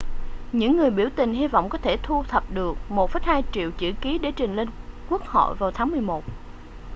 những người biểu tình hy vọng có thể thu thập được 1,2 triệu chữ ký để trình lên quốc hội vào tháng 11